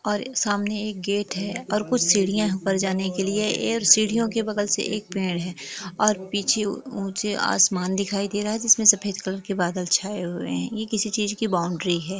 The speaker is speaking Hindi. और सामने एक गेट है और कुछ सीढ़ियाँ है ऊपर जाने के लिए ऐर सीढियों के बगल से एक पेड़ है और पीछे ऊँचे आसमान दिखाई दे रहा है जिसमें सफ़ेद कलर के बादल छाये हुए है ये किसी चीज़ की बाउंड्री है।